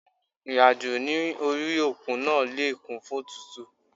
Ìrìn àjò ní orí òkun náà le kún fún òtútù.